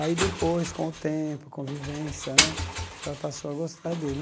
Aí depois, com o tempo, com a vivência né, acho que ela passou a gostar dele.